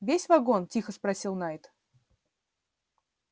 весь вагон тихо спросил найд